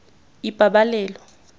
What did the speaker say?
ipabalelo